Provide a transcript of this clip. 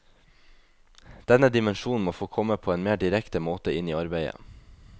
Denne dimensjonen må få komme på en mer direkte måte inn i arbeidet.